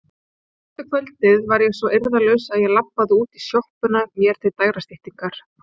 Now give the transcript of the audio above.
Fyrsta kvöldið var ég svo eirðarlaus að ég labbaði út í sjoppuna mér til dægrastyttingar.